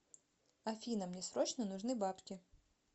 афина мне срочно нужны бабки